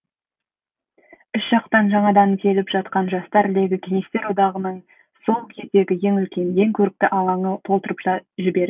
үш жақтан жаңадан келіп жатқан жастар легі кеңестер одағындағы сол кездегі ең үлкен ең көрікті алаңды толтырып та жіберді